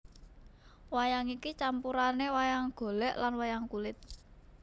Wayang iki campurane wayang golek lan wayang kulit